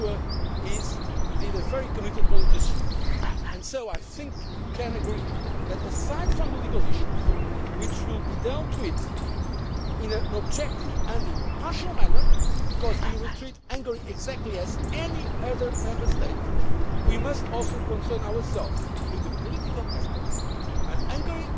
a politician. I am sure that he is a very committed politician and I think you can agree that, leaving aside the legal issues which will be dealt with in an objective and impartial manner because we will treat Hungary exactly like any other Member State we must also concern ourselves with the political aspects. Hungary,